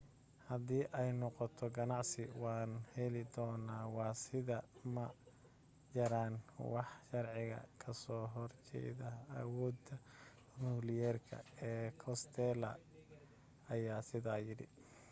"haddii ay noqoto ganacsi waan heli doonaa. waa sidaa ma jiraan wax sharciga kasoo hor jeeda awooda nukliyeerka ee costello aya sidaa yidhi.